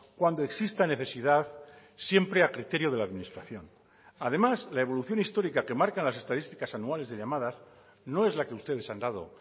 cuando exista necesidad siempre a criterio de la administración además la evolución histórica que marcan las estadísticas anuales de llamadas no es la que ustedes han dado